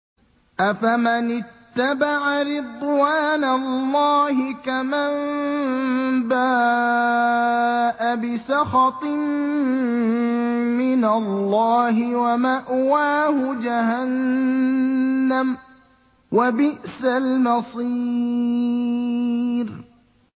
أَفَمَنِ اتَّبَعَ رِضْوَانَ اللَّهِ كَمَن بَاءَ بِسَخَطٍ مِّنَ اللَّهِ وَمَأْوَاهُ جَهَنَّمُ ۚ وَبِئْسَ الْمَصِيرُ